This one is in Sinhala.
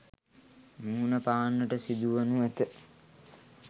මුහුණ පාන්නට සිදුවනු ඇත.